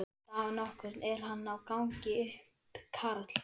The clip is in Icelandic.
Dag nokkurn er hann á gangi upp Karl